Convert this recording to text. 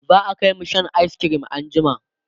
za'a Kai mu Shan ayis cream an jima